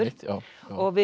og við